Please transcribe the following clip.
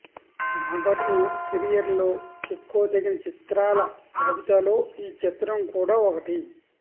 నాగార్జున కెరియర్లో చెప్పుకోదగిన చిత్రాల జాబితాలో ఈ చిత్రం కూడా ఒకటి